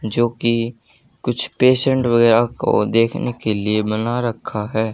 जो कि कुछ पेशेंट वगैरा को देखने के लिए बना रखा है।